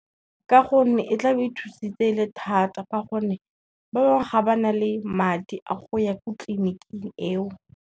Ka gonne e tla be e thusitse e le thata ka gonne, ba bangwe ga ba na le madi a go ya ko tleliniking eo.